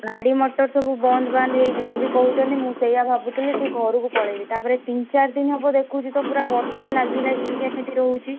ଗାଡି ମଟର ସବୁ ବନ୍ଦ ବାନ୍ଦ ହେଇଯିବ ବି କହୁଛନ୍ତି ମୁଁ ସେଇଆ ଭାବୁଥିଲି କି ଘରକୁ ପଳେଇବି ତାପରେ ତିନ ଚାରିଦିନ ହବ ଦେଖୁଛି ତ ପୁରା ବର୍ଷା ଲାଗି ଲାଗିକା କେମିତି ରହୁଛି।